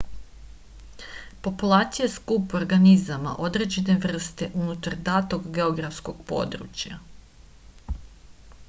populacija je skup organizama određene vrste unutar datog geografskog područja